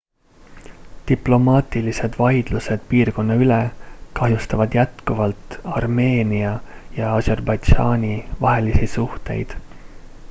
diplomaatilised vaidlused piirkonna üle kahjustavad jätkuvalt armeenia ja aserbaidžaani vahelisi suhteid